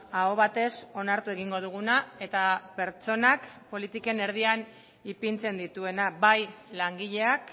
aho batez onartu egingo duguna eta pertsonak politiken erdian ipintzen dituena bai langileak